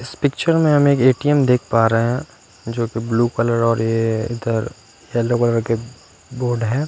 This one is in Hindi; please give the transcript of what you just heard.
इस पिक्चर में हम एक ए_टी_ऍम देख पा रहे हैं जोकि ब्लू कलर और ये ये इधर येल्लो कलर के बोर्ड हैं।